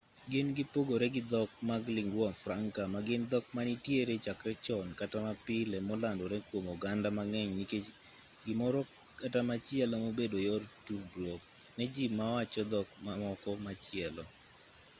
gin gipogore gi dhok mag lingua franca ma gin dhok manitiere chakre chon kata mapile molandore kwom oganda mang'eny nikech gimoro kata machielo mobedo yor tudruok ne ji mawacho dhok mamoko machielo